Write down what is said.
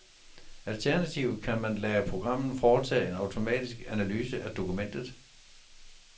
Alternativt kan man lade programmet foretage en automatisk analyse af dokumentet.